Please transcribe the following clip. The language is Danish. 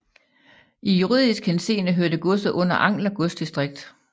I juridisk henseende hørte godset under Angler godsdistrikt